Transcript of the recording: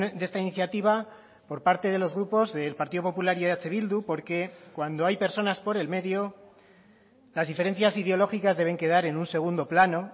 de esta iniciativa por parte de los grupos del partido popular y eh bildu porque cuando hay personas por el medio las diferencias ideológicas deben quedar en un segundo plano